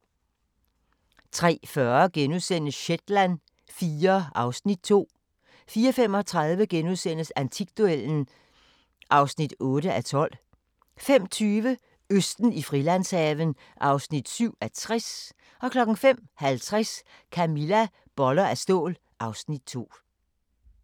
03:40: Shetland IV (Afs. 2)* 04:35: Antikduellen (8:12)* 05:20: Østen i Frilandshaven (7:60) 05:50: Camilla – Boller af stål (Afs. 2)